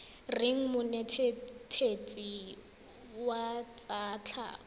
reng monetetshi wa tsa tlhago